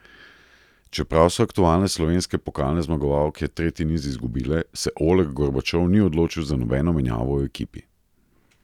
Čeprav so aktualne slovenske pokalne zmagovalke tretji niz izgubile, se Oleg Gorbačov ni odločil za nobeno menjavo v ekipi.